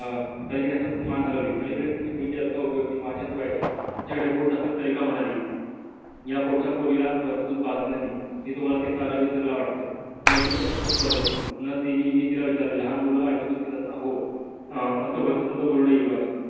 या पोटच्या पोरीला वरच दूध पाजलय मी हे तुम्हला ते सार विसरल वाटतंय मी अधिकच अस्वस्थ झालो. न ती नि मी तिला विचारल लहान मूल आईच दूध पितात न हो अस भलत सुलट बोलू नये युवराज